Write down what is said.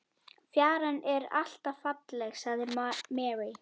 Fjaran er alltaf falleg, sagði Mary.